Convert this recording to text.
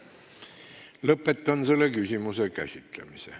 Lõpetan selle küsimuse käsitlemise.